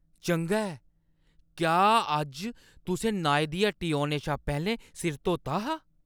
चंगा ऐ ! क्या अज्ज तुसें नाई दी हट्टी औने शा पैह्‌लें सिर धोता हा?